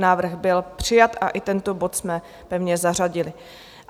Návrh byl přijat a i tento bod jsme pevně zařadili.